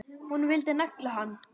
Hún vildi negla hann!